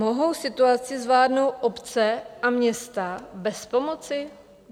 Mohou situaci zvládnout obce a města bez pomoci?